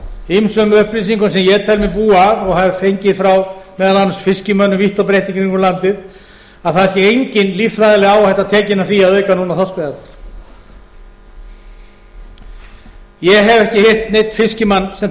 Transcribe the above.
ýmsum upplýsingum sem ég tel mig búa að og hafa fengið frá meðal annars fiskimönnum vítt og breitt í kringum landið að það sé engin líffræðileg áhætta tekin af því að auka núna þorskveiðarnar ég hef ekki heyrt neinn fiskimann sem